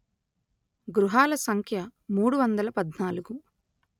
గృహాల సంఖ్య మూడు వందల పధ్నాలుగు